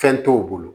Fɛn t'o bolo